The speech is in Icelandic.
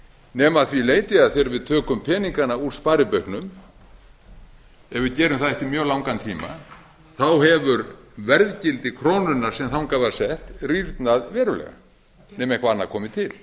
nema að því leyti að þegar við tökum peningana úr sparibauknum ef við gerum það eftir mjög langan tíma þá hefur verðgildi krónunnar sem þangað var sett rýrnað verulega nema eitthvað annað komi til